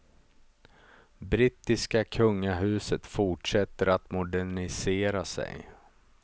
Brittiska kungahuset fortsätter att modernisera sig.